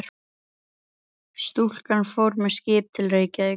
Stúlkan fór með skipi til Reykjavíkur.